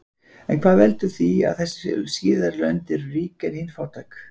en hvað veldur því að þessi síðari lönd eru rík en hin fátæk